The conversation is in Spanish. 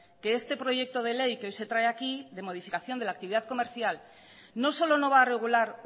que este proyecto de ley que hoy se trae aquí de modificación de la actividad comercial no solo no va a regular